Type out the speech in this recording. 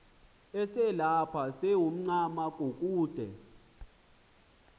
uselapha sewuncama kukude